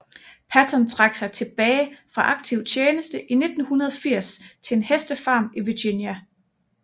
Patton trak sig tilbage fra aktiv tjeneste i 1980 til en hestefarm i Virginia